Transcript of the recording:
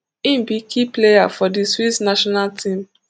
im be key player for di swiss national team